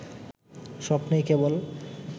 স্বপ্নেই কেবল